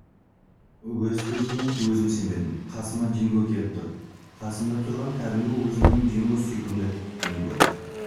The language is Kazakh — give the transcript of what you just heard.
өз көзіме өзім сенбедім қасыма динго келіп тұр қасымда тұрған кәдімгі өзіміздің динго сүйкімді динго